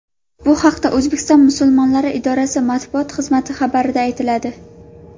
Bu haqda O‘zbekiston musulmonlari idorasi Matbuot xizmati xabarida aytiladi .